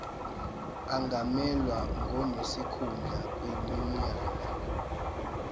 angamelwa ngonesikhundla kwinyunyane